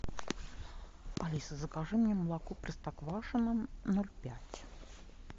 алиса закажи мне молоко простоквашино ноль пять